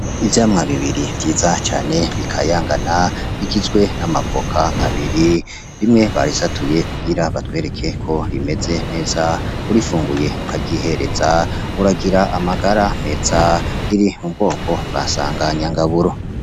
Ivyamwa bibiri vyiza cane bikayangana bigizwe n'amavoka abiri, rimwe barisatuye kugira batwereke ko rimeze neza, urifunguye ukaryihereza uragira amagara meza. Riri mu bwoko bwa sanganyangaburo.